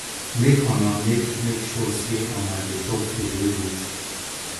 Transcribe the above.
make una make make sure sey una dey chop food wey good